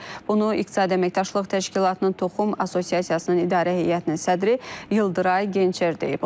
Bunu İqtisadi Əməkdaşlıq Təşkilatının Toxum Assosiasiyasının İdarə Heyətinin sədri Yıldıray Gençer deyib.